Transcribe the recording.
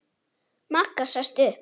Magga sest upp.